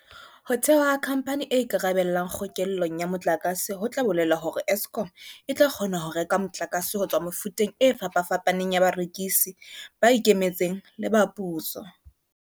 Ho thewa ha khampani e ikarabelang kgokellong ya motlakase ho tla bolela hore Eskom e tla kgona ho reka motlakase ho tswa mefuteng e fapafapaneng ya barekisi, ba ikemetseng le ba puso.